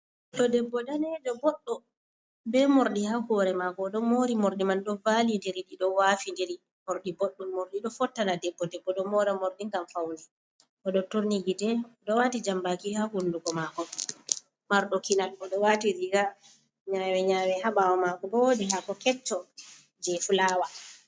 Ɗo debbo danejo boɗɗo, be morɗi ha hore mako, o ɗo mori morɗi man ɗo valindiri, ɗi ɗo waafindiri, morɗi boɗɗum. Mordi ɗo fottana debbo, debbo ɗo mora morɗi ngam faune. O ɗo turni gite, o ɗo waati jambaki ha hundugo mako, marɗo kinal, o ɗo waati riga nyawe- nyawe. Ha ɓaawo mako bo wodi hako kecco jei flawa.